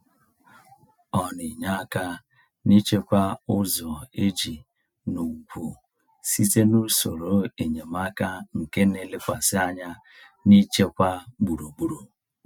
Ọ na-enye aka n’ịchekwa ụzọ ije n’ugwu site n’usoro enyemaka nke na-elekwasị anya n’ichekwa gburugburu.